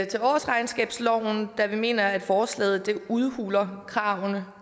til årsregnskabsloven da vi mener at forslaget udhuler kravene